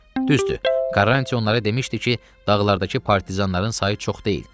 Düzdür, Karant onların demişdi ki, dağlardakı partizanların sayı çox deyil.